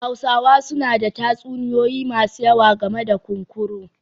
Hausawa suna da tatsuniyoyi masu yawa game da kunkuru